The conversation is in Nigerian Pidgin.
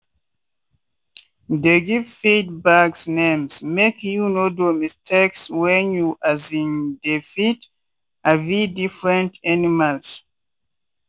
dey give feed bags names make you no do mistakes when you um dey feed um different animals.